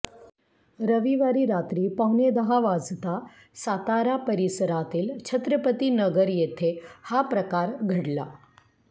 रविवारी रात्री पावणेदहा वाजता सातारा परिसरातील छत्रपतीनगर येथे हा प्रकार घडला